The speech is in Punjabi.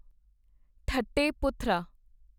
ਠੱਟੇ ਪੁਥਰਾ